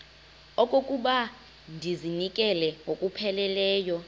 okokuba ndizinikele ngokupheleleyo